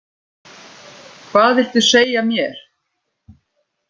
Hvað viltu segja mér?